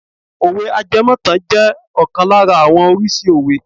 Òwe àjẹmó ìtàn je ọkàn lára àwọn oríṣi òwe.